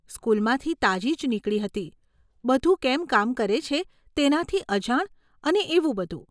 સ્કૂલમાંથી તાજી જ નીકળી હતી, બધું કેમ કામ કરે છે તેનાથી અજાણ અને એવું બધું.